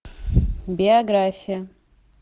биография